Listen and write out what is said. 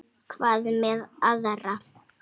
Hvað með aðra?